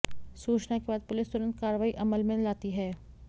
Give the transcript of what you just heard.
सूचना के बाद पुलिस तुरंत कार्रवाई अमल में लाती है